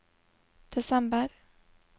desember